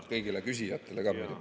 Aitäh kõigile küsijatele ka!